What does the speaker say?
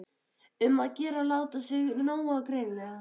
Um að gera að láta sjá sig nógu greinilega!